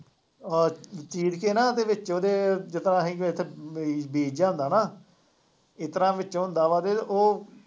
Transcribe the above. ਅਹ ਚੀਰ ਕੇ ਨਾ ਉਹਦੇ ਵਿੱਚ ਉਹਦੇ ਜਿਸ ਤਰ੍ਹਾ ਬੀਜ ਜਿਹਾ ਹੁੰਦਾ ਨਾ, ਇਸ ਤਰ੍ਹਾਂ ਵਿੱਚ ਹੁੰਦਾ ਵਾ ਅਤੇ ਉਹ